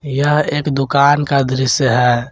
यह एक दुकान का दृश्य है।